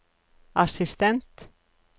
assistent